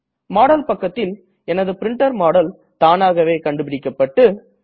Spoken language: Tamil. மாடல் பக்கத்தில் எனது பிரின்டர் மாடல் தானாகவே கண்டுபிடிக்கப்பட்டுள்ளது